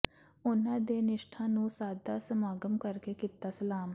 ਉਨ੍ਹਾਂ ਦੀ ਨਿਸ਼ਠਾ ਨੂੰ ਸਾਦਾ ਸਮਾਗਮ ਕਰਕੇ ਕੀਤਾ ਸਲਾਮ